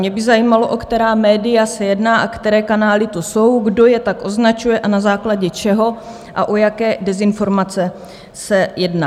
Mě by zajímalo, o která média se jedná a které kanály to jsou, kdo je tak označuje a na základě čeho a o jaké dezinformace se jedná.